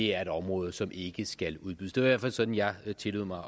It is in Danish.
er et område som ikke skal udbydes det hvert fald sådan jeg tillod mig